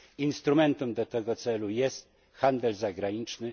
Instrumentem do tego celu jest handel zagraniczny.